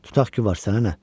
Tutaq ki, var, sənə nə?